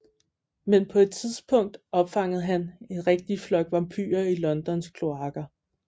Men på et tidspunkt opfangede han en rigtig flok vampyre i Londons kloaker